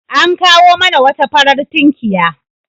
An kawo mana wata farar tunkiya.